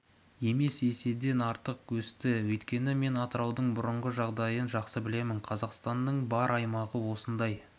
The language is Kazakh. емес еседен артық өсті өйткені мен атыраудың бұрынғы жағдайын жақсы білемін қазақстанның бар аймағы осындай